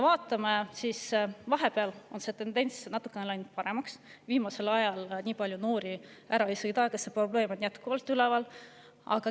Vahepeal on see tendents läinud natukene paremaks, viimasel ajal nii palju noori ära ei sõida, aga see probleem on jätkuvalt üleval.